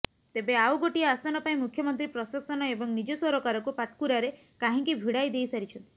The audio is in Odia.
ତେବେ ଆଉ ଗୋଟିଏ ଆସନ ପାଇଁ ମୁଖ୍ୟମନ୍ତ୍ରୀ ପ୍ରଶାସନ ଏବଂ ନିଜ ସରକାରକୁ ପାଟକୁରାରେ କାହିଁକି ଭିଡ଼ାଇ ଦେଇସାରିଛନ୍ତି